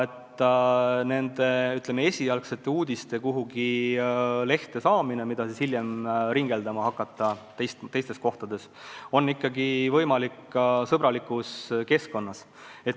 Niisuguste, ütleme, esialgsete sõnumite kuhugi lehte saamine ja nende pärastine teistes kohtades ringeldamine on ikkagi võimalik sõbralikus keskkonnas.